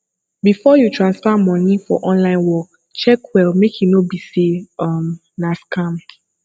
before you transfer money for online work check well make e no be sey um na scam